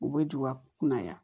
U bɛ don ka kunna yan